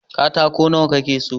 katako nawa ka ke so?